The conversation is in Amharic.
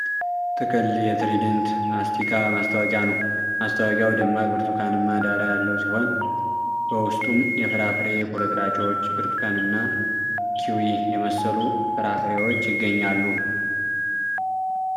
ጥቅል የTrident ማስቲካ ማስታወቂያ ነው። ማስታወቂያው ደማቅ ብርቱካንማ ዳራ ያለው ሲሆን በውስጡም የፍራፍሬ ቁርጥራጮች፣ ብርቱካን እና ኪዊ የመሰሉ ፍራፍሬዎች ይገኛሉ።